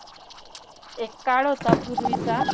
एक काळ होता पूर्वीचा.